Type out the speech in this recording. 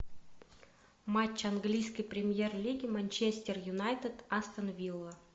матч английской премьер лиги манчестер юнайтед астон вилла